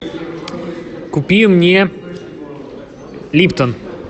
купи мне липтон